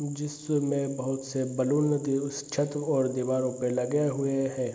जिसमें बहोत से बैलून लगे उस छत और दीवारों पे लगे हुए हैं।